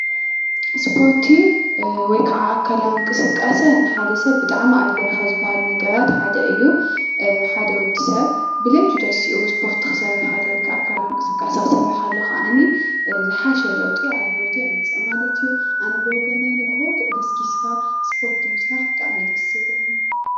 እሰፖርቲ ወይከዓ ኣካለዊ እንቅስቃሰ ንሓደ ሰብ ብጣዕሚ ኣድላይ ካብ ዝባሃሉ ነገራትሓደ እዩ። ሓደ ወዲ ሰብ ብለይቲ ተሲኡ እስፖርቲ ክሰርሕ ከሎ ወይ ክዓ ኣካላዊ እንቅስቃሴ ክሰርሕ ከሎ ክዓኒ ዝሓሸ ለውጢ ኣብ ሂወቱ የምፅእ ማለትእዩ። ኣነ ብወገነይ ንጎሆ ገስጊስካ እሰፖርቲ ምስራሕ ብጣዕሚ እዩ ደስ ዝብለኒ።